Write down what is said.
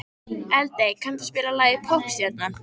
Eldey, kanntu að spila lagið „Poppstjarnan“?